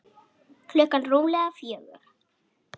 Klukkan rúmlega fjögur.